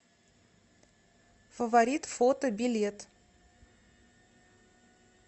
фаворит фото билет